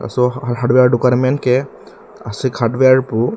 laso adukan amen ke ashok hardware pu.